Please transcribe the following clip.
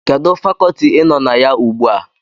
Kedụ Fakọọti ị nọ na ya ugbu a?